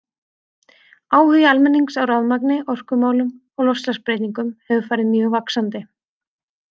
Áhugi almennings á rafmagni, orkumálum og loftslagsbreytingum hefur farið mjög vaxandi.